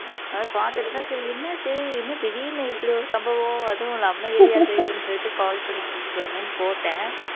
அதான் பாத்துட்டுதான் சரி என்னாச்சு என்ன திடீர்ன்னு இப்படி ஒரு சம்பவம் அதுவும் நம்ம area தெரியுதுன்னு சொல்லிட்டு call பண்ணி கேட்கலாமேன்னு போட்டேன்